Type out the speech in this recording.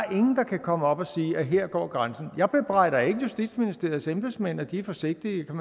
kan komme og sige at her går grænsen jeg bebrejder ikke justitsministeriets embedsmænd at de er forsigtige